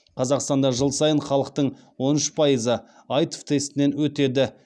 қазақстанда жыл сайын халықтың он үш пайызы аитв тестінен өтеді